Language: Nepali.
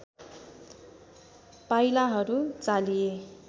पाइलाहरू चालिए